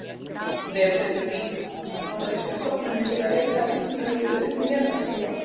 Vefsetur: Bandaríska stofnunin til leitar að vitsmunalífi utan jarðar, SETI.